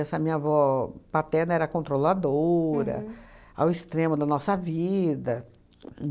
Essa minha avó paterna era controladora, ao extremo da nossa vida.